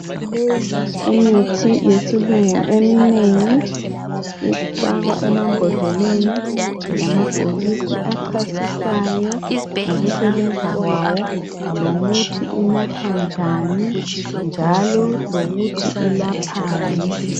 Imithi yesilungu eminengi ifakwa emambodleleni lamabhokisi achasisayo ngokusebenza kwawo lokuthi inathwa njani njalo lokuthi ilaphani.